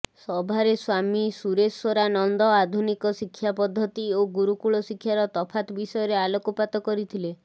ସଭାରେ ସ୍ବାମୀ ସୁରେଶ୍ବରା ନନ୍ଦ ଆଧୁନିକ ଶିକ୍ଷା ପଦ୍ଧତି ଓ ଗୁରୁକୁଳ ଶିକ୍ଷାର ତଫାତ୍ ବିଷୟରେ ଆଲୋକପାତ କରିଥିଲେ